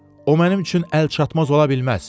O mənim üçün əlçatmaz ola bilməz.